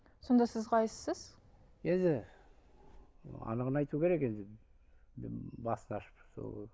сонда сіз қайсысыз енді анығын айту керек енді м басты ашып сол